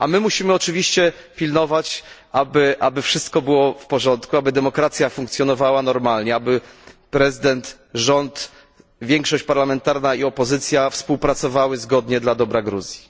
My musimy oczywiście pilnować, aby wszystko było w porządku, aby demokracja funkcjonowała normalnie, aby prezydent, rząd, większość parlamentarna i opozycja współpracowali zgodnie dla dobra Gruzji.